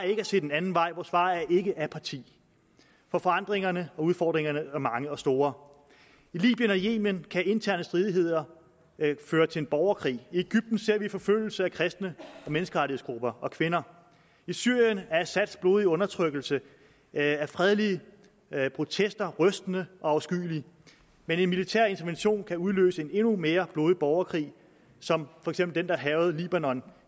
ikke at se den anden vej vores svar er ikke apati for forandringerne og udfordringerne er mange og store i libyen og yemen kan interne stridigheder føre til en borgerkrig i egypten ser vi forfølgelse af kristne menneskerettighedsgrupper og kvinder i syrien er assads blodige undertrykkelse af fredelige protester rystende og afskyelig men en militær intervention kan udløse en endnu mere blodig borgerkrig som for eksempel den der hærgede libanon